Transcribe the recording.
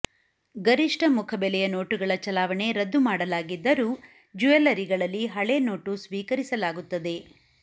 ಗರಿಷ್ಠ ಮುಖಬೆಲೆಯ ನೋಟುಗಳ ಚಲಾವಣೆ ರದ್ದು ಮಾಡಲಾಗಿದ್ದರೂ ಜ್ಯುವೆಲ್ಲರಿಗಳಲ್ಲಿ ಹಳೇ ನೋಟು ಸ್ವೀಕರಿಸಲಾಗುತ್ತದೆ